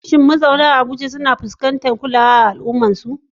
Shin mazauna Abuja sukan fuskanci rashin kulawa a cikin al'ummarsu?